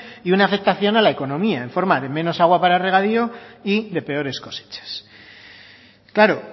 y una afectación a la economía en forma de menos agua para regadío y de peores cosechas claro